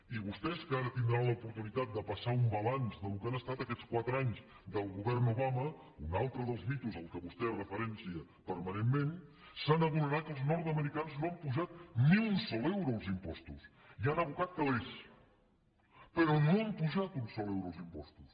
i vostès que ara tindran l’oportunitat de passar un balanç del que han estat aquests quatre anys del govern obama un altre dels mites al qual vostè fa referència permanentment se n’adonaran que els nord americans no han apujat ni un sol euro els impostos hi han abocat calés però no han apujat un sol euro els impostos